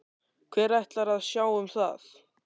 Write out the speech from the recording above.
Hver ætlar að sjá um það?